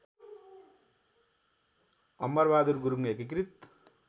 अमरबहादुर गुरुङ एकीकृत